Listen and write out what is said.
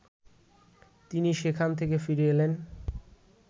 তিনি সেখান থেকে ফিরে এলেন